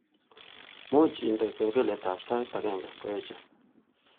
Muuch indene kengeletab sait agenge ngoeche